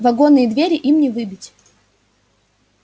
вагонные двери им не выбить